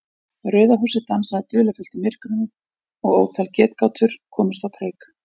Rauða húsið dansaði dularfullt í myrkrinu og ótal getgátur komust á kreik.